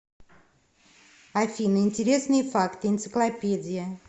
афина интересные факты энциклопедия